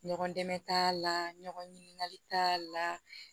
Ɲɔgɔn dɛmɛ t'a la ɲɔgɔn ɲininkali t'a la